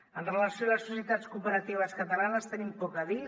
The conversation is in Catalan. amb relació a les societats cooperatives catalanes tenim poc a dir